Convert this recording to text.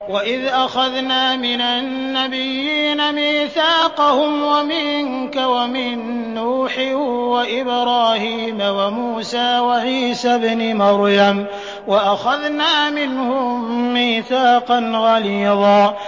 وَإِذْ أَخَذْنَا مِنَ النَّبِيِّينَ مِيثَاقَهُمْ وَمِنكَ وَمِن نُّوحٍ وَإِبْرَاهِيمَ وَمُوسَىٰ وَعِيسَى ابْنِ مَرْيَمَ ۖ وَأَخَذْنَا مِنْهُم مِّيثَاقًا غَلِيظًا